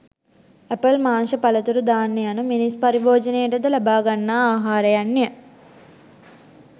Apple මාංශ පලතුරු ධාන්‍ය යනු මිනිස් පරිභෝජනයට ද ලබාගන්නා ආහාරයන්ය.